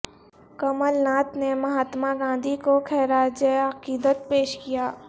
کمل ناتھ نے مہاتما گاندھی کو خراج عقیدت پیش کیا